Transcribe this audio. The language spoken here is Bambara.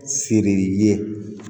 Seri ye